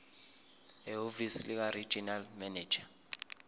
ehhovisi likaregional manager